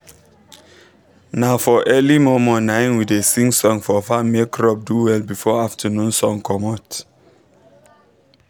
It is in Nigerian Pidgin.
na for early mor mor naim we da sing song for farm make crop do well before afternoon sun comot